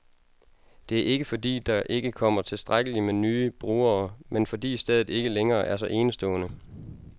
Det er ikke, fordi der ikke kommer tilstrækkeligt med nye brugere, men fordi stedet ikke længere er så enestående.